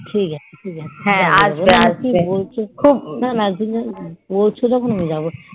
ঠিক আছে যাবো